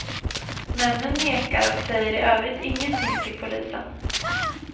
Männen nekar och säger i övrigt ingenting till polisen.